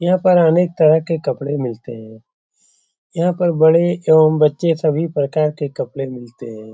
यहाँ पर अनेक तरह के कपड़े मिलते है। यहाँ पर बड़े एवं बच्चे के सभी प्रकार के कपड़े मिलते हैं।